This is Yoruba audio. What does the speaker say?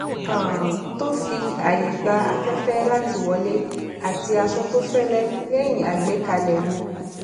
um tó fi ààyè gba afẹfẹ láti wọlé àti aṣọ tó fẹlẹ lẹyìn agbékalẹ mi